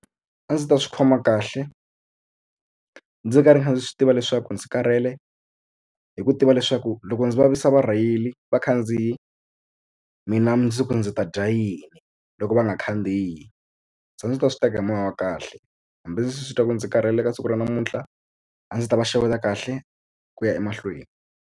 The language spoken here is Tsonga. A ndzi ta swi khoma kahle ndzi karhi ndzi swi tiva leswaku ndzi karhele hi ku tiva leswaku loko ndzi vavisa varheyili vakhandziyi mina ndzi ku ndzi ta dya yini loko va nga khandziyi se a ndzi ta swi teka hi moya wa kahle hambi ndzi titwa ndzi karhele ka siku ra namuntlha a ndzi ta va xeweta kahle ku ya emahlweni.